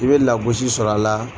I bɛ lagosi sɔrɔ a la.